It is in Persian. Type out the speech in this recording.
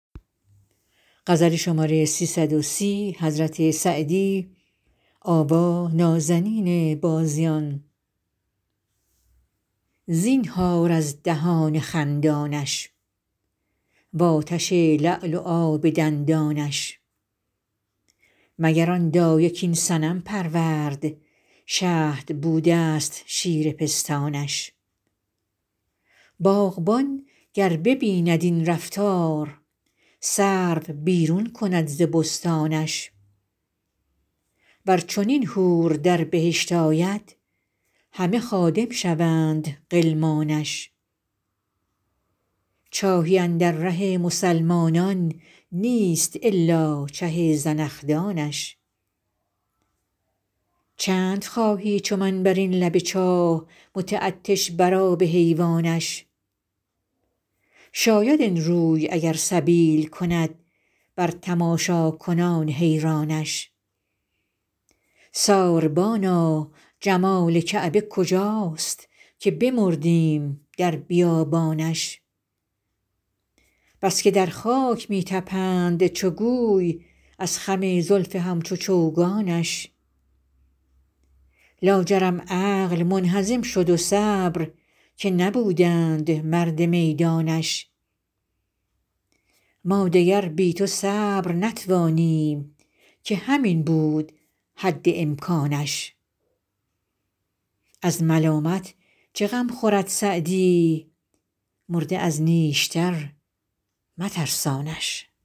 زینهار از دهان خندانش و آتش لعل و آب دندانش مگر آن دایه کاین صنم پرورد شهد بوده ست شیر پستانش باغبان گر ببیند این رفتار سرو بیرون کند ز بستانش ور چنین حور در بهشت آید همه خادم شوند غلمانش چاهی اندر ره مسلمانان نیست الا چه زنخدانش چند خواهی چو من بر این لب چاه متعطش بر آب حیوانش شاید این روی اگر سبیل کند بر تماشاکنان حیرانش ساربانا جمال کعبه کجاست که بمردیم در بیابانش بس که در خاک می طپند چو گوی از خم زلف همچو چوگانش لاجرم عقل منهزم شد و صبر که نبودند مرد میدانش ما دگر بی تو صبر نتوانیم که همین بود حد امکانش از ملامت چه غم خورد سعدی مرده از نیشتر مترسانش